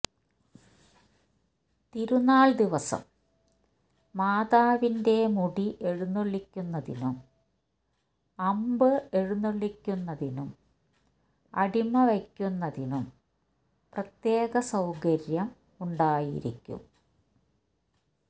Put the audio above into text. തിരുന്നാൾ ദിവസം മാതാവിന്റെ മുടി എഴുന്നുള്ളിക്കുന്നതിനും അമ്പ്എഴുന്നുള്ളിക്കുന്നതിനും അടിമവയ്ക്കുന്നതിനും പ്രത്യേക സൌകര്യം ഉണ്ടായിരിക്കും